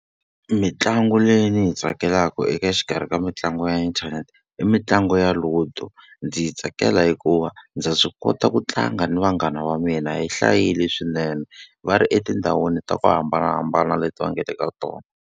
Mitlangu leyi ni yi tsakelaka eka xikarhi ka mitlangu ya inthanete, i mitlangu ya Ludo. Ndzi yi tsakela hikuva ndza swi kota ku tlanga ni vanghana va mina hi hlayile swinene va ri etindhawini ta ku hambanahambana leti va nga le ka tona.